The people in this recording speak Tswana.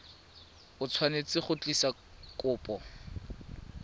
o tshwanetse go tlisa kopo